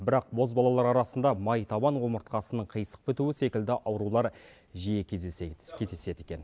бірақ бозбалалар арасында майтабан омыртқасының қисық бітуі секілді аурулар жиі кездеседі екен